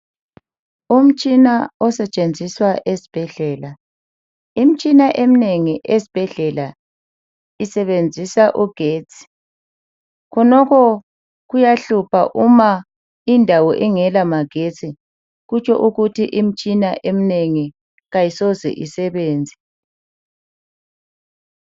Umtshina osetshenziswa esibhedlela. Imitshina eminengi esibhedlela isebenzisa ugetsi. Khonokho kuyahlupha uma indawo ingelamagetsi kutsho ukuthi imtshini emnengi kayisoze isebenze.